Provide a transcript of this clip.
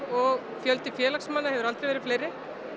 og fjöldi félagsmanna hefur aldrei verið meiri